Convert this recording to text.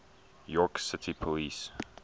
york city police